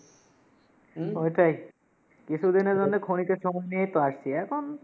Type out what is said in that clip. উম ওইটাই। কিসু দিন এর জন্যে ক্ষণিক এর সময় নিয়েই তো আসছি এখন।